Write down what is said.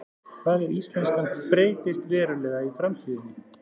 Hvað ef íslenskan breytist verulega í framtíðinni?